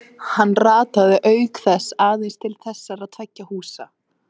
Hann rataði auk þess aðeins til þessara tveggja húsa.